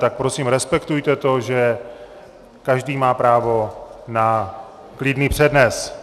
Tak prosím respektuje to, že každý má právo na klidný přednes.